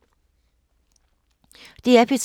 DR P3